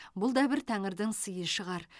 бұл да бір тәңірдің сыйы шығар